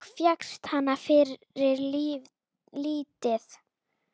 Og fékkst hana fyrir lítið!